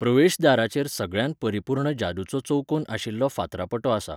प्रवेशदाराचेर सगळ्यांत परिपूर्ण जादूचो चौकोन आशिल्लो फातरापटो आसा.